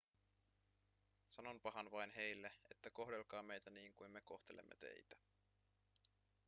sanonpahan vain heille että kohdelkaa meitä niin kuin me kohtelemme teitä